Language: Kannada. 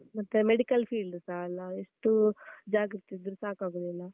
ಮತ್ತೆ medical field ಸ ಅಲ್ಲ ಅದು ಎಷ್ಟು ಜಾಗ್ರತೆ ಇದ್ದ್ರೂ ಸಾಕಾಗುದಿಲ್ಲ.